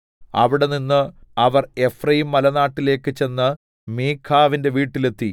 അവിടെനിന്ന് അവർ എഫ്രയീംമലനാട്ടിലേക്ക് ചെന്ന് മീഖാവിന്റെ വീട്ടിൽ എത്തി